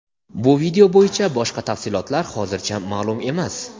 Bu video bo‘yicha boshqa tafsilotlar hozircha ma’lum emas.